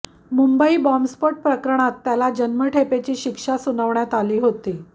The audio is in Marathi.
मुंबई बॉम्बस्फोट प्रकरणात त्याला जन्मठेपेची शिक्षा सुनावण्यात आली होती